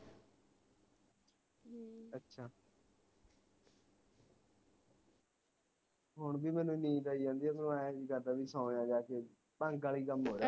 ਹੁਣ ਵੀ ਮੈਨੂੰ ਨੀਂਦ ਆਈ ਜਾਂਦੀ ਐ ਜੀ ਕਰਦਾ ਬਾਈ ਸੋ ਜਾ ਜਾ ਕੇ ਭੰਗ ਵਾਲੀ ਕਮ ਹੋਰ